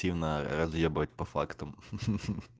тивно разъебать по фактам